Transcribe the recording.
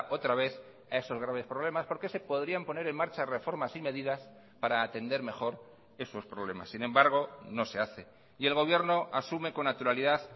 otra vez a esos graves problemas porque se podrían poner en marcha reformas y medidas para atender mejor esos problemas sin embargo no se hace y el gobierno asume con naturalidad